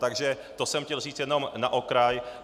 Takže to jsem chtěl říct jenom na okraj.